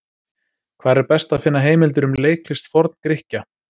Hvar er best að finna heimildir um leiklist Forn-Grikkja?